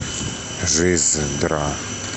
жиздра